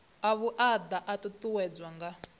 a vhuaḓa a ṱuṱuwedzwa nga